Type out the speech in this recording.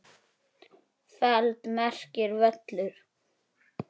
feld merkir völlur.